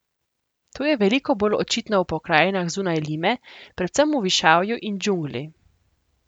To je veliko bolj očitno v pokrajinah zunaj Lime, predvsem v višavju in džungli.